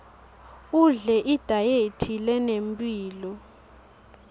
udle idayethi lenemphilo